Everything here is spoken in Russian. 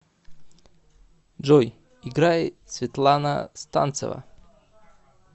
джой играй светлана станцева